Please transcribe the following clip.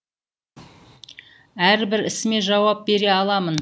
әрбір ісіме жауап бере аламын